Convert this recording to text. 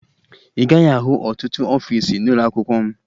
Ị gaghị ahụ ọtụtụ ọfiisi n'ụlọakwụkwọ m